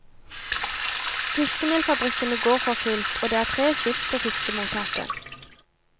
Fiskemelfabrikkene går for fullt, og det er tre skift på fiskemottaket.